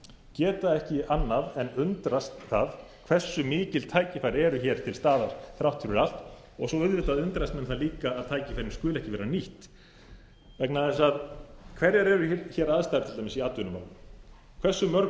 geta ekki annað en undrast það hversu mikil tækifæri eru til staðar þrátt fyrir allt og svo auðvitað undrast menn það líka vegna þess að tækifærin skulu ekki vera nýtt hverjar eru hér aðstæður til dæmis í atvinnumálum hversu mörg